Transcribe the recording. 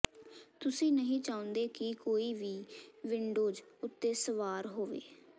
ਤੁਸੀਂ ਨਹੀਂ ਚਾਹੁੰਦੇ ਕਿ ਕੋਈ ਵੀ ਵਿੰਡੋਜ਼ ਉੱਤੇ ਸਵਾਰ ਹੋਵੇ